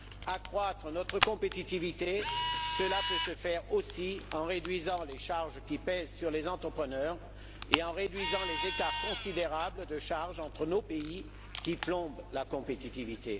Accroître notre compétitivité, cela peut se faire aussi en réduisant les charges qui pèsent sur les entrepreneurs et en réduisant les écarts considérables de charges entre nos pays, qui plombent la compétitivité.